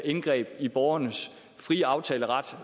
indgreb i borgernes frie aftaleret